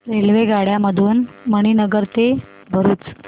रेल्वेगाड्यां मधून मणीनगर ते भरुच